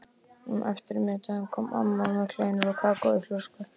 Um eftirmiðdaginn kom amma með kleinur og kakó á flösku.